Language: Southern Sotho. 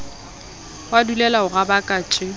wa dulela ho rabaka tje